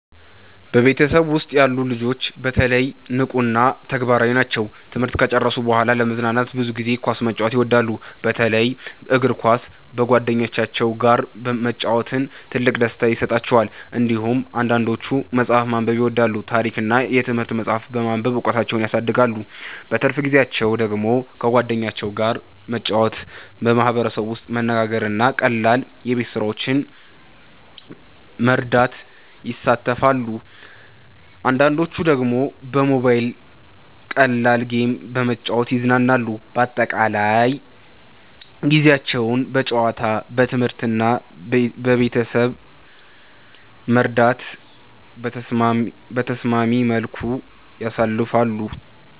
በቤተሰቤ ውስጥ ያሉ ልጆች በተለይ ንቁ እና ተግባራዊ ናቸው። ትምህርት ከጨረሱ በኋላ ለመዝናናት ብዙ ጊዜ ኳስ መጫወት ይወዳሉ፣ በተለይ እግር ኳስ በጓደኞቻቸው ጋር መጫወት ትልቅ ደስታ ይሰጣቸዋል። እንዲሁም አንዳንዶቹ መጽሐፍ ማንበብ ይወዳሉ፣ ታሪክ እና የትምህርት መጻሕፍት በማንበብ እውቀታቸውን ያሳድጋሉ። በትርፍ ጊዜያቸው ደግሞ ከጓደኞቻቸው ጋር መጫወት፣ በማህበረሰብ ውስጥ መነጋገር እና ቀላል የቤት ስራዎችን መርዳት ይሳተፋሉ። አንዳንዶቹ ደግሞ በሞባይል ቀላል ጌም በመጫወት ይዝናናሉ። በአጠቃላይ ጊዜያቸውን በጨዋታ፣ በትምህርት እና በቤተሰብ መርዳት በተስማሚ መልኩ ያሳልፋሉ።